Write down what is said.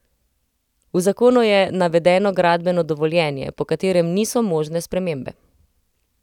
V zakonu je navedeno gradbeno dovoljenje, po katerem niso možne spremembe.